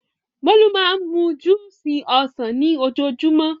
Bólú máa ń mú júúsì ọsàn ni ojoojúmọ́.